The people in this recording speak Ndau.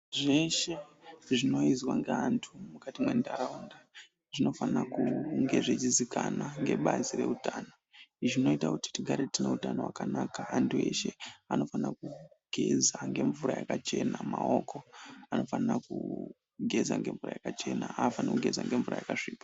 Zveshe zvinoizwa ngeantu mukati mwentaraunda zvinofana kunge zveichizikana ngebazi reutano. Izvi zvinoita kuti tigare tine utano wakanaka . Antu eshe anofanira kugeza ngemvura yakachena. Maoko anofanira kugeza ngemvura yakachena afaniri kugeza ngemvura yakasvipa.